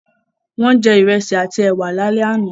Wọ́n jẹ Ìrẹ́sì àti ẹwà lálẹ́ àná